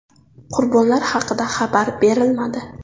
Qurbonlar haqida xabar berilmadi.